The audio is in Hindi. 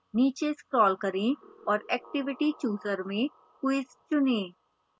नीचे scroll करें और activity chooser में quiz चुनें